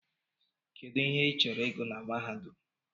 Kedụ ihe I chọrọ ịgụ na mahadum?